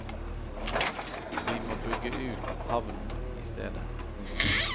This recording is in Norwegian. Vi må bygge ut havnen i stedet.